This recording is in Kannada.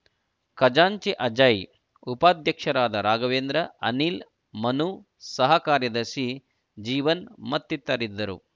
ಖಜಾಂಚಿ ಅಜಯ್‌ ಉಪಾಧ್ಯಕ್ಷರಾದ ರಾಘವೇಂದ್ರ ಅನಿಲ್‌ ಮನು ಸಹ ಕಾರ್ಯದರ್ಶಿ ಜೀವನ್‌ ಮತ್ತಿತರರಿದ್ದರು